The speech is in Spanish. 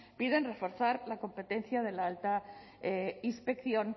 piden reforzar la competencia de la alta inspección